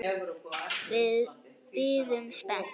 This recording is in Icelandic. Við biðum spennt.